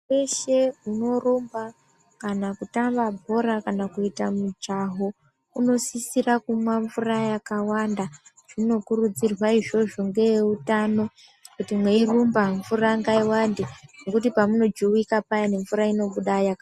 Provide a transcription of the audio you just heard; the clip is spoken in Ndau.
Weshe unorumba kana kutamba bhora kana kuita mujaho unosisira kumwa mvura yakawanda zvinokurudzirwa izvozvo ngevehutano kuti meirumba mvura ngaiwande ngekuti pamunojuwika mvura inobuda yakawanda.